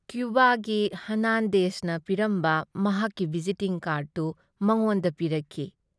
ꯀ꯭ꯌꯨꯕꯥꯒꯤ ꯍꯔꯅꯥꯟꯗꯦꯖꯅ ꯄꯤꯔꯝꯕ ꯃꯍꯥꯛꯀꯤ ꯚꯤꯖꯤꯇꯤꯡ ꯀꯥꯔ꯭ꯗꯇꯨ ꯃꯉꯣꯟꯗ ꯄꯤꯔꯛꯈꯤ ꯫